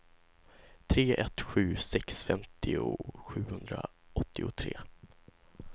tre ett sju sex femtio sjuhundraåttiotre